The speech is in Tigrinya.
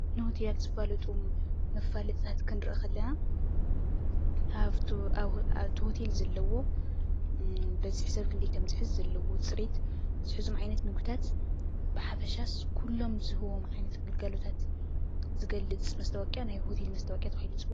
ንሆቴላት ዝፋለጡ መፋለጥታት ክንርኢ ከለና ኣብ እቲ ሆቴል ዘለዎ፣ በዝሒ ሰብ ክንደይ ከምዝሕዝ፣ ዘለዎ ፅሬት፣ ዝሕዞም ዓይነት ምግብታት ብሓፈሻስ ኩሎም ዝህብዎም ዓይነት ግልጋሎታት ዝገልፅ መስታወቂያ ናይ ሆቴል መስታወቅያ ተባሂሉ ይፅዋዕ፡፡